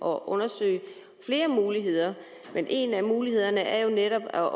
og undersøge flere muligheder men en af mulighederne er jo netop at